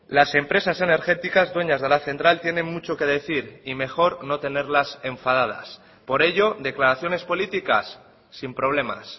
las empresas energéticas dueñas de la central tienen mucho que decir y mejor no tenerlas enfadadas por ello declaraciones políticas sin problemas